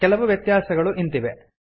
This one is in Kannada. ಕೆಲವು ವ್ಯತ್ಯಾಸಗಳು ಇಂತಿವೆ